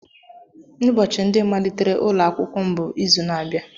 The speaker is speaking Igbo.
Ụbọchị ndị malitere ụlọ akwụkwọ m bụ izu na-abịa.